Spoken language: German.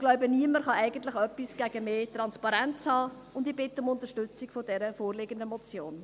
Ich glaube, niemand kann etwas gegen mehr Transparenz haben, und ich bitte um Unterstützung für die vorliegende Motion.